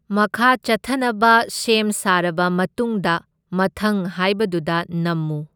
ꯃꯈꯥ ꯆꯠꯊꯅꯕ ꯁꯦꯝ ꯁꯥꯔꯕ ꯃꯇꯨꯡꯗ ꯃꯊꯪ ꯍꯥꯏꯕꯗꯨꯗ ꯅꯝꯃꯨ꯫